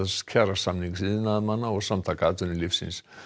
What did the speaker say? kjarasamnings iðnaðarmanna og Samtaka atvinnulífsins